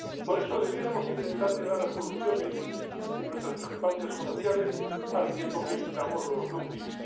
Por eso debiéramos intentar llegar a soluciones en nuestras discrepancias comerciales, al tiempo que evitamos los dumpings.